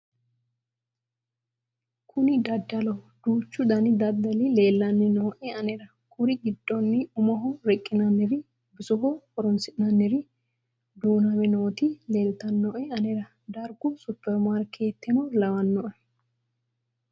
kuni dadalloho duuchu dani dadali leelanni nooe anera kuri giddonni umoho riqqinanniri bisoho horoonsi'nanniri duuname nooti leltannoe anera dargu superi marikeeteno lawanno